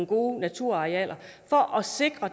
gode naturarealer for at sikre